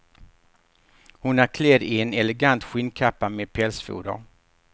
Hon är klädd i en elegant skinnkappa med pälsfoder.